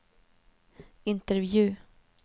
intervju